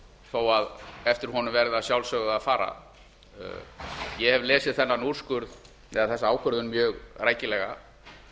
þó eftir honum verði að sjálfsögðu að fara ég hef lesið þennan úrskurð eða þessa ákvörðun mjög rækilega